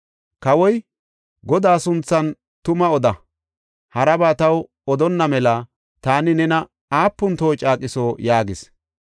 Kawoy, “Godaa sunthan tumaa oda; haraba taw odonna mela taani nena aapun toho caaqiso” yaagis.